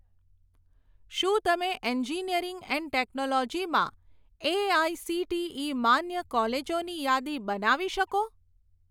શું તમે engineering and technology માં એઆઇસીટીઇ માન્ય કોલેજોની યાદી બનાવી શકો?